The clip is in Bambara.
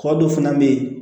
Kɔ dɔ fana bɛ yen